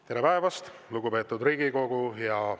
Tere päevast, lugupeetud Riigikogu!